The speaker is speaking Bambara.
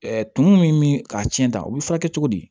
tumu min k'a tiɲɛ ta u bɛ furakɛ cogo di